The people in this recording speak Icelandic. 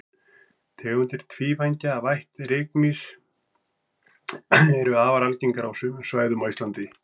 tegundir tvívængja af ætt rykmýs eru afar algengar á sumum svæðum á íslandi